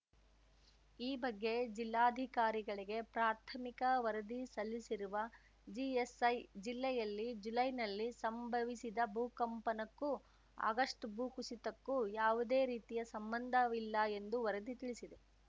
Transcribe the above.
ಈ ಬಗ್ಗೆ ಜಿಲ್ಲಾಧಿಕಾರಿಗಳಿಗೆ ಪ್ರಾಥಮಿಕ ವರದಿ ಸಲ್ಲಿಸಿರುವ ಜಿಎಸ್‌ಐ ಜಿಲ್ಲೆಯಲ್ಲಿ ಜುಲೈನಲ್ಲಿ ಸಂಭವಿಸಿದ ಭೂಕಂಪನಕ್ಕೂ ಆಗಸ್ಟ್‌ ಭೂಕುಸಿತಕ್ಕೂ ಯಾವುದೇ ರೀತಿಯ ಸಂಬಂಧವಿಲ್ಲ ಎಂದು ವರದಿ ತಿಳಿಸಿದೆ